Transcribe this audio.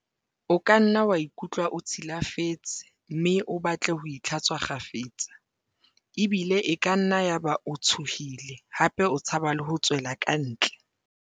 "O kanna wa ikutlwa o tshi lafetse mme o batle ho itlha-tswa kgafetsa, ebile e kanna ya ba o tshohile hape o tshaba le ho tswela kantle."